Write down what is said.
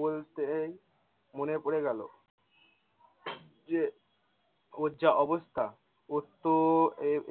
বলতেই মনে পড়ে গেলো। যে ওর যে অবস্থা ওর তো